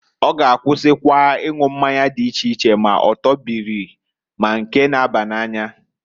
Ọ g'akwụsị ịnwụ mmanya dị iche iche, ma ọtọ bịrị ma nke na-aba n'anya.